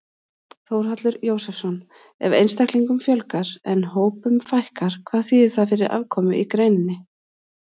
Þórhallur Jósefsson: Ef einstaklingum fjölgar en hópum fækkar, hvað þýðir það fyrir afkomu í greininni?